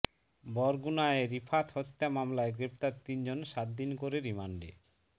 বরগুনায় রিফাত হত্যা মামলায় গ্রেপ্তার তিনজন সাত দিন করে রিমান্ডে